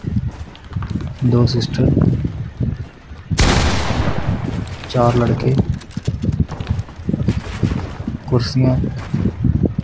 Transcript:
ਦੋ ਸਿਸਟਰ ਚਾਰ ਲੜਕੇ ਕੁਰਸੀਆਂ।